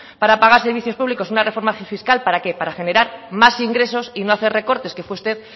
para pagar servicios públicos una reforma fiscal para qué para generar más ingresos y no hacer recortes que fue usted